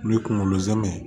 N'i ye kunkolo zɛmɛ ye